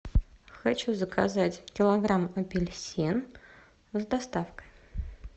хочу заказать килограмм апельсин с доставкой